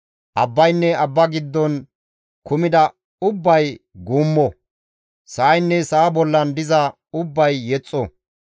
Abbaynne abba giddon kumida ubbay guummo! sa7aynne sa7a bollan diza ubbay yexxo!